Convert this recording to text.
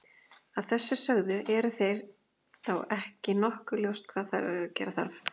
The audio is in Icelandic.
Að þessu sögðu, er þá ekki nokkuð ljóst hvað gera þarf?